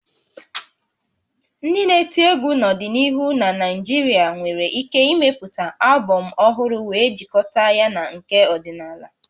Ndị na-eti egwu n'ọdịnihu na Naịjirịa nwere ike ịmepụta albọm ọhụrụ wee jikọta ya na nke ọdịnala